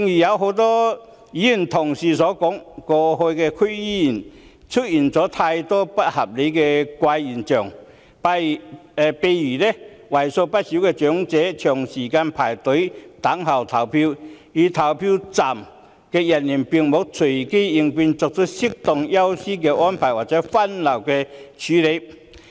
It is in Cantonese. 正如很多議員同事指出，剛過去的區議會選舉出現很多不合理的怪現象，例如為數不少的長者長時間排隊輪候投票，票站人員卻沒有隨機應變，作出適當安排，讓長者優先投票或分流處理。